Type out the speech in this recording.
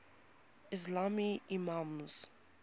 ismaili imams